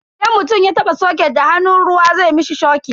Idan mutum ya taba soket da hannun ruwa zai mishi shokin.